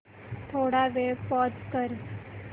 थोडा वेळ पॉझ कर